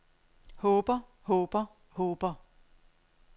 håber håber håber